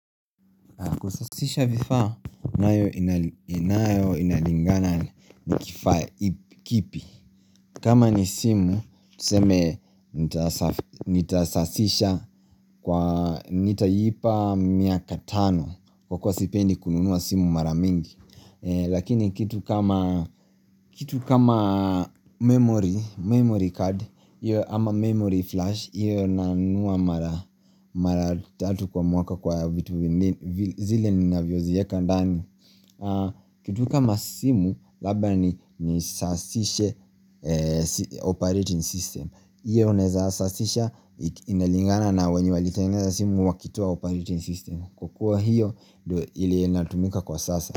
Kusasisha vifaa, nayo inalingana nikifaa kipi kama ni simu, tuseme nitasasisha kwa nitaipa miaka tano kwa kuwa sipendi kununua simu mara mingi Lakini kitu kama memory card ama memory flash Iyo nanua mara tatu kwa mwaka kwa vitu zile ninavyozieka ndani Kitu kama simu labda ni sasishe operating system hiyo naweza sasisha inalingana na wenye walitengeneza simu wakitoa operating system kwa Kua hiyo ndiyi ile inatumika kwa sasa.